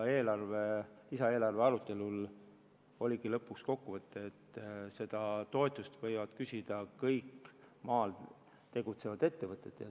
Lisaeelarve arutelul jõuti lõpuks kokkuleppeni, et seda toetust võivad küsida kõik maal tegutsevad ettevõtted.